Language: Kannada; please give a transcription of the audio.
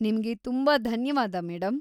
ನಿಮ್ಗೆ ತುಂಬಾ ಧನ್ಯವಾದ, ಮೇಡಂ.